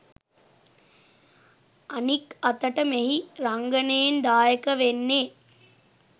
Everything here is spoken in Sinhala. අනික් අතට මෙහි රංගනයෙන් දායක වෙන්නෙ